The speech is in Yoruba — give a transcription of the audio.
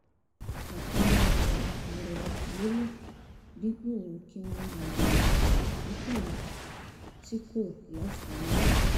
àpẹẹrẹ ìwà ìrẹ̀lẹ̀ lélẹ̀ dípò kí wọ́n máa béèrè ìgbẹ́kẹ̀lé tí kò láfiwé